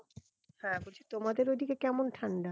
হ্যাঁ বলছি তোমাদের ওদিকে কেমন ঠান্ডা